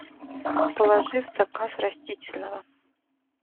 положи в заказ растительного